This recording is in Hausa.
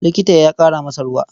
Likita ya ƙara masa ruwa.